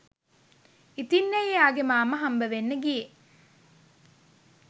ඉතින්ඇයි එයාගේ මාමා හම්බවෙන්න ගියේ